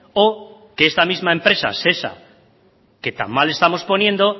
o que esta misma empresa shesa que tan mal estamos poniendo